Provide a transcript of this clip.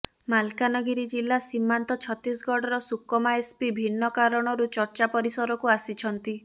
ମାଲକାନଗିରି ଜିଲ୍ଲା ସୀମାନ୍ତ ଛତିଶଗଡ଼ର ସୁକମା ଏସ୍ପି ଭିନ୍ନ କାରଣରୁ ଚର୍ଚ୍ଚା ପରିସରକୁ ଆସିଛନ୍ତି